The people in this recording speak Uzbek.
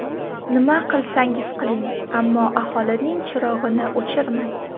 Nima qilsangiz qiling, ammo aholining chirog‘ini o‘chirmang.